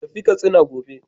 Tafi Katsina gobe!